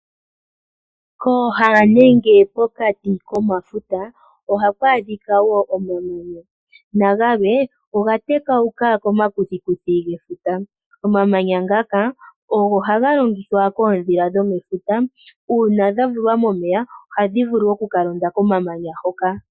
Kooha nenge pokati komafuta, ohaku adhika wo omamanya na gamwe oga tekauka komakuthikuthi gefuta. Omamanya ngaka ogo haga longithwa koodhila dhomefuta. Uuna dha vulwa momeya ohadhi vulu oku ka londa komamanya hoka.